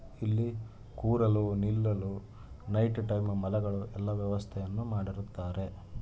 ಇಲ್ಲಿ ಕೂರಲು ನಿಲ್ಲಲು ನೈಟ್ ಟೈಮಲ್ಲಿ ಮಲಗಲು ಎಲ್ಲ ವ್ಯವಸ್ಥೆಯನ್ನು ಮಾಡಿರುತ್ತಾರೆ.